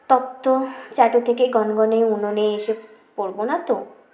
তক্ত চাটু থেকে গনগনে উনোনে এসে পোরবোনা তো